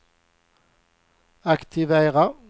aktivera